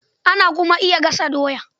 Ana kuma iya gasa doya